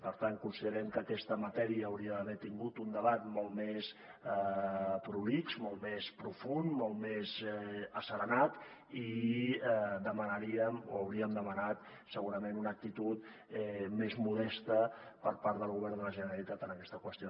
per tant considerem que aquesta matèria hauria d’haver tingut un debat molt més prolix molt més profund molt més asserenat i demanaríem o hauríem demanat segurament una actitud més modesta per part del govern de la generalitat en aquesta qüestió